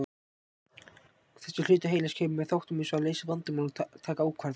Þessi hluti heilans kemur að þáttum eins og að leysa vandamál og taka ákvarðanir.